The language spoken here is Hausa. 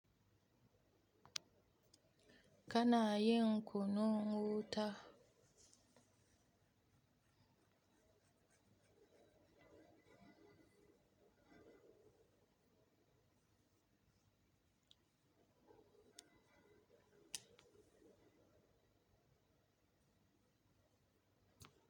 Ka na yin kunun wuta.